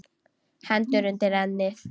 Hendur undir ennið.